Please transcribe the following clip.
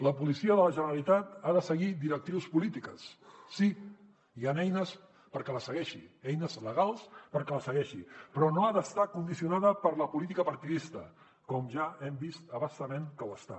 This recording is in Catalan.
la policia de la generalitat ha de seguir directius polítiques sí i hi han eines perquè les segueixi eines legals perquè les segueixi però no ha d’estar condicionada per la política partidista com ja hem vist a bastament que ho ha està